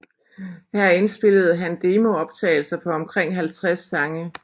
Her indspillede han demooptagelser på omkring 50 sange